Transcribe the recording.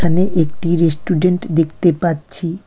এখানে একটি রেস্টুরেন্ট দেখতে পাচ্ছি।